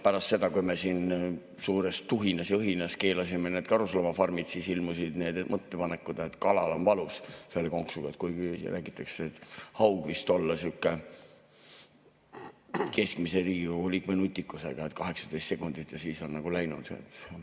Pärast seda, kui me siin suures tuhinas ja õhinas keelasime karusloomafarmid, siis ilmusid need mõtted, et kalal on valus selle konksu tõttu, kuigi räägitakse, et haug vist olla sihuke keskmise Riigikogu liikme nutikusega, 18 sekundit ja siis on nagu läinud.